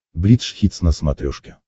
бридж хитс на смотрешке